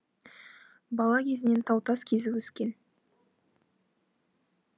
бала кезінен тау тас кезіп өскен